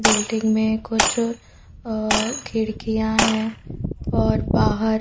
building में कुछ खिड़कियां है और बाहर--